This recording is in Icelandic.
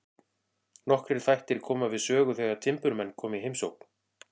Nokkrir þættir koma við sögu þegar timburmenn koma í heimsókn.